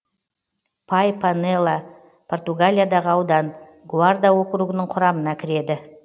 пай пенела португалиядағы аудан гуарда округінің құрамына кіреді